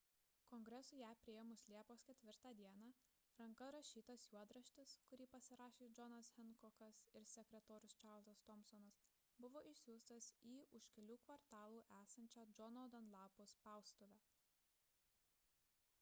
kongresui ją priėmus liepos 4 d ranka rašytas juodraštis kurį pasirašė džonas henkokas ir sekretorius čarlzas tomsonas buvo išsiųstas į už kelių kvartalų esančią džono danlapo spaustuvę